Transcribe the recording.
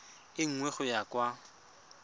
e nngwe go ya kwa